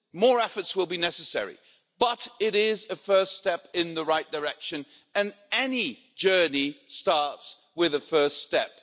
More efforts will be necessary. But it is a first step in the right direction and any journey starts with a first step.